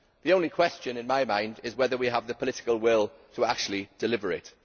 The only question in my mind is whether we have the political will to actually deliver it.